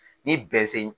Ni bɛn se